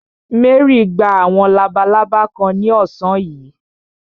Mary gba àwọn labalábá kan ní ọ̀sán yìí.